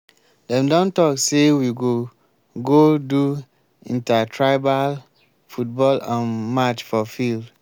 dem don talk sey we go go do inter-tribal football um match for field.